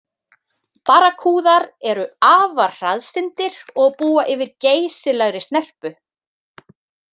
Barrakúðar eru afar hraðsyndir og búa yfir geysilegri snerpu.